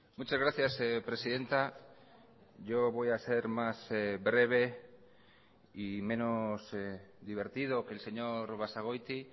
muchas gracias presidenta yo voy a ser más breve y menos divertido que el señor basagoiti